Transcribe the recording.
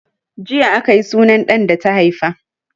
Jiya aka yi sunan ɗan da ta haifa.